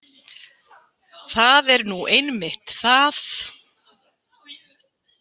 Það er nú einmitt það!